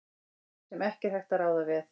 sem ekki er hægt að ráða við.